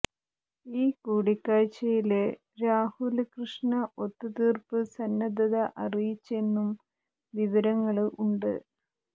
ഈ കൂടിക്കാഴ്ചയില് രാകുല് കൃഷ്ണ ഒത്തുതീര്പ്പ് സന്നദ്ധത അറിയിച്ചെന്നും വിവരങ്ങള് ഉണ്ട്